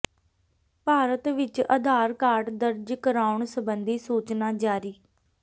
ਭਾਰਤ ਵਿਚ ਅਧਾਰ ਕਾਰਡ ਦਰਜ ਕਰਾਉਣ ਸਬੰਧੀ ਸੂਚਨਾ ਜਾਰੀ